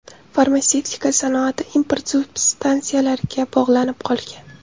Farmatsevtika sanoati import substansiyalariga bog‘lanib qolgan.